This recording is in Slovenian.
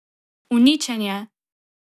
Uničenje!